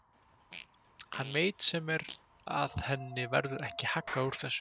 Hann veit sem er að henni verður ekki haggað úr þessu.